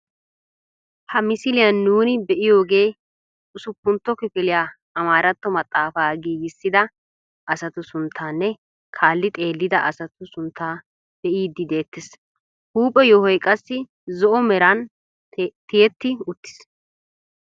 Ha misiliyaan nuuni be'iyoogee usupuntto kifiliyaa amaaratto maxaafaa giigisida asatu sunttaanne kaalli xeellida asatu sunttaa be'iidi de"ettees. huuphphe yoohoy qassi zo"o meraan tiyetti uttiis.